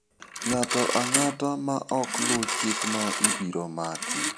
Ng'ato ang'ata ma ok luw chikno ibiro maki.